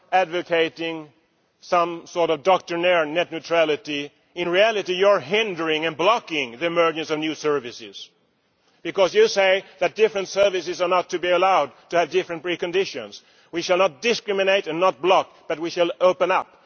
are advocating some sort of doctrinaire net neutrality, I would say that in reality you are hindering and blocking the emergence of new services, because you say that different services are not to be allowed to have different preconditions. We shall not discriminate and block, but we shall open